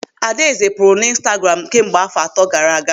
Adaeze pụrụ n'Ịnstagramu kemgbe áfọ̀ atọ gaara aga.